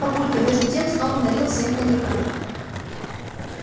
папулька между тем снова налил всем коньяка